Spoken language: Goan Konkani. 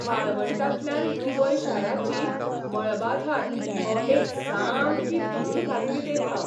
वाळवंटांतल्यान दुबय शाराची मळबाधार हो एक सामकी भूल घालपी देखाव.